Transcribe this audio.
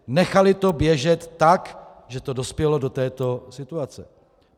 Nechaly to běžet tak, že to dospělo do této situace.